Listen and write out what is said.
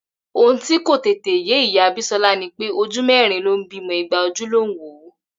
Ohun tí kò tètè yé ìyá Bísọ́lá ni pé ojú mẹ́rin ló ń bímọ igba ojú ló ń wò ó